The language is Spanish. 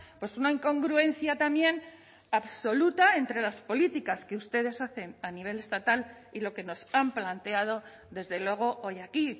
pues una incongruencia también absoluta entre las políticas que ustedes hacen a nivel estatal y lo que nos han planteado desde luego hoy aquí